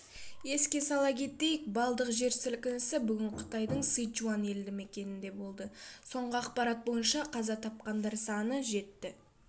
еске сала кетейік балдық жер сілкінісі бүгін қытайдың сычуань елді мекенінде болды соңғы ақпарат бойынша қаза тапқандар саны жетті